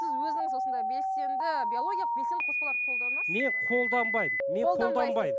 сіз өзіңіз осындай белсенді биологиялық белсенді қоспаларды қолданасыз ба мен қолданбаймын